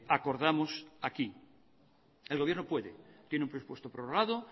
acordamos aquí el gobierno puede tiene un presupuesto prorrogado